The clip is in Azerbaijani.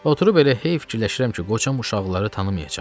Oturub elə hey fikirləşirəm ki, qocam uşaqları tanımayacaq.